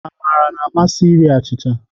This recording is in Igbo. Amara na-amasị iri achịcha